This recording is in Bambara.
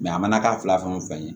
a mana kɛ fila fɛn o fɛn ye